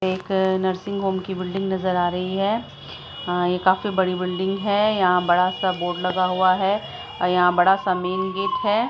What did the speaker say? एक nursing home की building नजर आ रही हैं ये काफी बड़ी बिल्डिंग हैं बड़ा सा बोर्ड लगा हुवा हैं और यहाँ बड़ा सा मेइन गेट हैं।